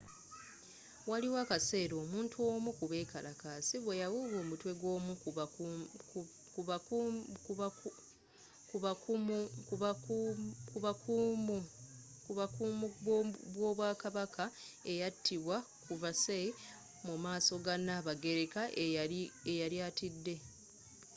waliwo akaseera omuntu omu kubekalakaasi bweyawuuba omutwe gwoomu kubakuumu b'obwakabaka eyatibwa ku versailles mumaaso ga nabagereka eyali atidde